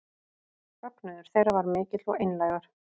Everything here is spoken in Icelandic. Fögnuður þeirra var mikill og einlægur